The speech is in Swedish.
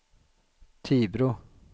Tibro